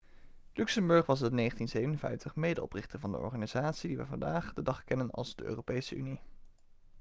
luxemburg was in 1957 medeoprichter van de organisatie die we vandaag de dag kennen als de europese unie